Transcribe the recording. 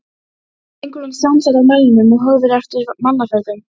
Drengurinn stansar á melnum og horfir eftir mannaferðum.